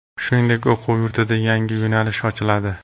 Shuningdek, o‘quv yurtida yangi yo‘nalish ochiladi.